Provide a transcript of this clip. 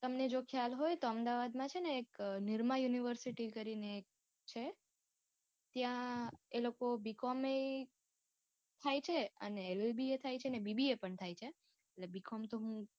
તમને જો ખ્યાલ હોય તો અમદાવાદ મા છે ને એક નિરમા યુનિવર્સીટી કરી ને એક છે. ત્યાં એ લોકો B. com ય થાય છે અને LLB યે થાય છે ને BBA પણ થાય છે. એટલે B. com તો હું,